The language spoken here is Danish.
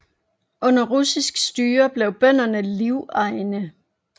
Under russisk styre blev bønderne livegne